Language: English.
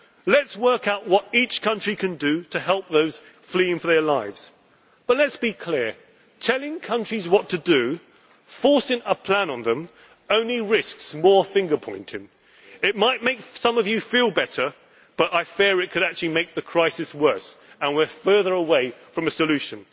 no one. Let us work out what each country can do to help those fleeing for their lives, but let us be clear telling countries what to do, forcing a plan on them, only risks more finger pointing. It might make some of you feel better, but I fear it could actually make the crisis worse and push us further away from